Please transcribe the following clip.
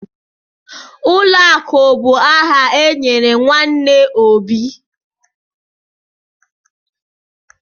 Ụlọakụ bụ aha enyere nwanne Obi.